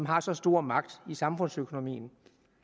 har så stor magt i samfundsøkonomien